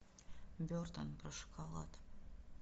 бертон про шоколад